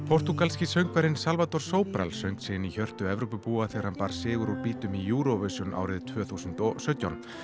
portúgalski söngvarinn Salvador Sobral söng sig inn í hjörtu Evrópubúa þegar hann bar sigur úr bítum í Eurovision árið tvö þúsund og sautján